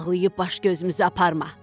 Ağlayıb baş-gözümüzü aparma.